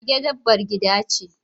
Mage dabbar gida ce.